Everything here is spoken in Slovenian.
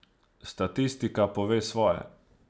Statistika pove svoje.